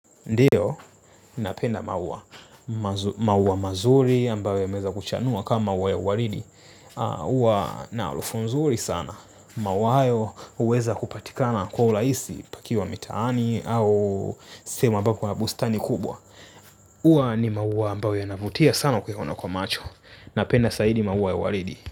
Ndiyo, ninapenda maua, maua mazuri ambayo yameweza kuchanua kama maua ya uaridi. Huwa na harufu nzuri sana. Maua hyo huweza kupatikana kwa urahisi pakiwa mitaani au sehemu ambako kuna bustani kubwa. Huwa ni maua ambayo yanavutia sana kuyaona kwa macho. Napenda zaidi maua ya uaridi.